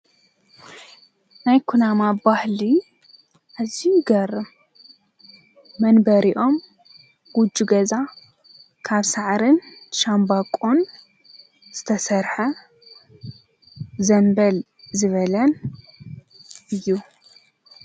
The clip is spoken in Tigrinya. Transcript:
ናይ ኮናማ ባህሊ ኣዙዩ ይገርም መንበሪኦም ጕጅ ገዛ ካብ ሠዓርን ሻምባቆን ዝተሠርሐ ዘንበል ዝበለን እዩ።